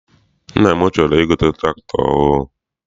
Nna m chọrọ I gote tụractọr ọhụụ.